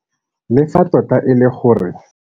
Le fa tota e le gore.